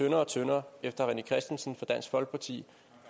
og kortere efter at rené christensen fra dansk folkeparti